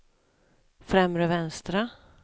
främre vänstra